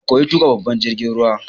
Ka koyi tuƙa babban jirgin ruwa!